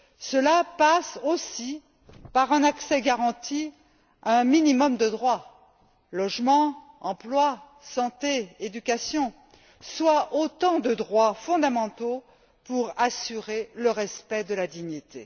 Cela passe aussi par un accès garanti à un minimum de droits logement, emploi, santé, éducation, soit autant de droits fondamentaux pour assurer le respect de la dignité.